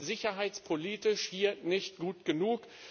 Wir sind sicherheitspolitisch hier nicht gut genug.